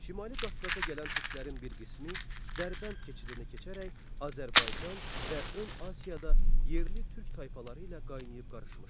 Şimali Qafqaza gələn türklərin bir qismi Dərbənd keçidini keçərək Azərbaycan və Ön Asiyada yerli türk tayfaları ilə qaynayıb qarışmışlar.